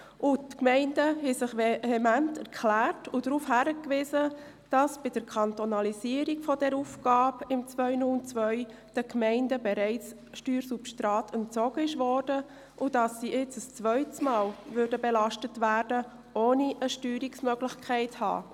Die Gemeinden haben vehement darauf hingewiesen, dass bei der Kantonalisierung dieser Aufgabe im Jahr 2002 den Gemeinden bereits Steuersubstrat entzogen worden ist und dass sie jetzt ein zweites Mal belastet würden, ohne eine Steuerungsmöglichkeit zu haben.